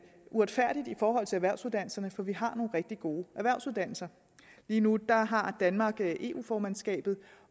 uretfærdigt i forhold til erhvervsuddannelserne for vi har nogle rigtig gode erhvervsuddannelser lige nu har har danmark eu formandskabet